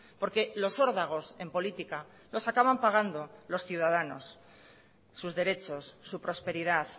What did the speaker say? porque los órdagos en política los acaban pagando los ciudadanos sus derechos su prosperidad